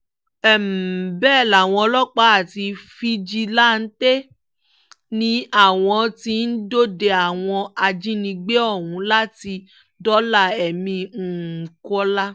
um bẹ́ẹ̀ làwọn ọlọ́pàá àti fíjìláǹtẹ̀ ni àwọn tí ń dọdẹ àwọn ajínigbé ọ̀hún láti dóòlà ẹ̀mí um kọ́lá